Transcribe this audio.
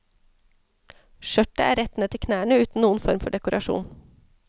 Skjørtet er rett ned til knærne uten noen form for dekorasjon.